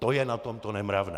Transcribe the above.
To je na tom to nemravné.